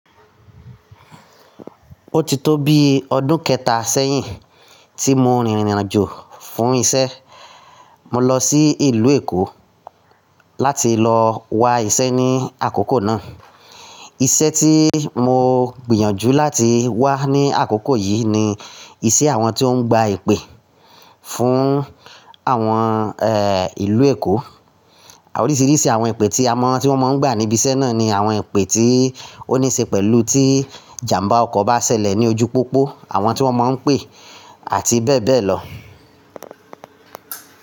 Ó ti tó bi ọdún kẹta sẹ́yìn tí mo rìnrìn àjò fún iṣẹ́. Mo lọ sí ìlú Èkó láti lọ wa iṣẹ́ ní àkókò náà. Iṣẹ́ tí mo gbìyànjú láti wá ní àkókò yìí ni iṣẹ́ àwọn tí ó ń gba ìpè fún àwọn, ẹ, ìlú Èkó. Oríṣiríṣi àwọn ìpè tí àwọn tí wọ́n máa ń gbà níbi iṣẹ́ náà ni àwọn ìpè tí ó ní ṣe pẹ̀lú tí ìjàmbá ọkọ̀ bá ṣẹlẹ̀ ní ojú pópó, àwọn tí wọ́n máa ń pè, àti bẹ́ẹ̀ bẹ́ẹ̀ lọ.